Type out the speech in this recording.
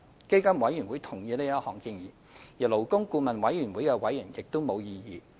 基金委員會同意這項建議，而勞工顧問委員會的委員對此亦無異議。